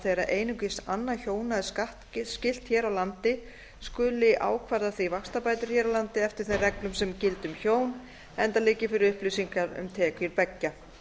þegar einungis annað hjóna er skattskylt hér á landi skuli ákvarða því vaxtabætur hér á landi eftir þeim reglum sem gilda um hjón enda liggi fyrir upplýsingar um tekjur beggja